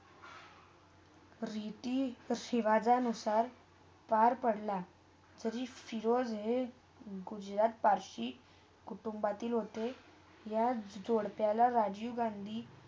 रीति - रिवाजा अनुसार काळ पडला तरी फिरोज हे झोरास्ट्रियन पारशी कुटुंबातील होते याच जोडत्याला राजीव गांधी.